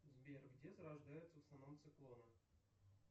сбер где зарождаются в основном циклоны